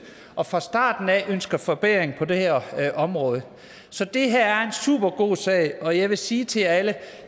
og fra starten ønsket forbedringer på det her område så det her er en supergod sag og jeg vil sige til jer alle